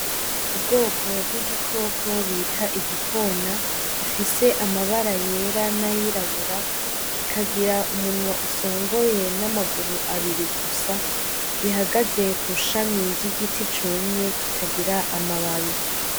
Ubwoko bw'igikoko bita igikona, gifise amabara yera nayirabura kikagira umunwa usongoye n'amaguru abiri, gusa gihagaze kw'ishami ry'igiti cumye kitagira amababi.